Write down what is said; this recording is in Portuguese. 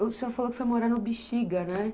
O senhor falou que foi morar no Bixiga, né?